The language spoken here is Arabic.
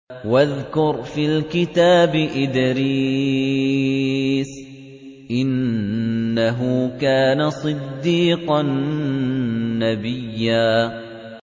وَاذْكُرْ فِي الْكِتَابِ إِدْرِيسَ ۚ إِنَّهُ كَانَ صِدِّيقًا نَّبِيًّا